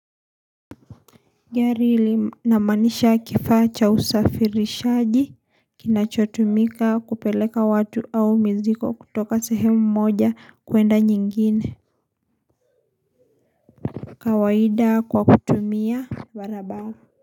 Gari linamaanisha kifaa cha usafirishaji kinachotumika kupeleka watu au miziko kutoka sehemu mmoja kuenda nyingine kawaida kwa kutumia barabara.